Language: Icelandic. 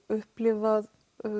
upplifað